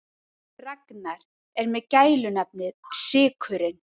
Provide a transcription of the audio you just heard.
Ragnar er með gælunafnið sykurinn.